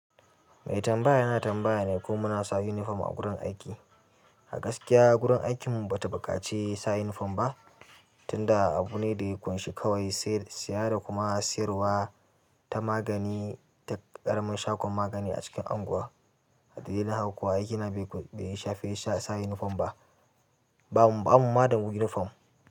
Mai tambaya ya na tambaya ne ko mu na sa uniform a gurin aiki. A gaskiya gurin aikinmu ba ta buƙaci sa uniform ba, tunda abu ne da ya ƙunshi kawai saya da kuma siyarwa ta magani, ta ƙaramin shagon magani a cikin anguwa ade yi mani haƙuwa aikin nan bai shafe sa uniform ba? Ba mu ma da uniform.